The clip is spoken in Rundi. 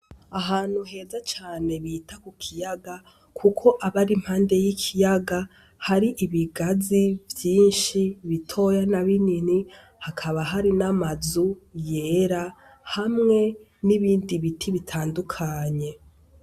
Ahantu heza cane bita ku kiyaga kuko aba ari impande y'ikiyaga hari ibigazi vyinshi bitoya na binini hakaba hari n'amazu yera hamwe nibindi biti bitandukanye.